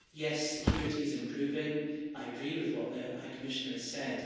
Yes, security is improving I agree with what the High Commissioner has said.